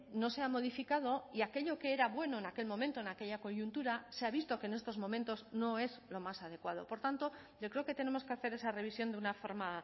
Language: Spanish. no se ha modificado y aquello que era bueno en aquel momento en aquella coyuntura se ha visto que en estos momentos no es lo más adecuado por tanto yo creo que tenemos que hacer esa revisión de una forma